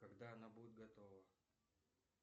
когда она будет готова